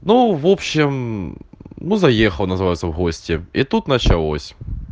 ну в общем ну заехал называется в гости и тут началось